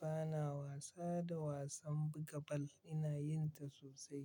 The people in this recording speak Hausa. Bana wasa da wasan buga bal. Ina yin ta sosai.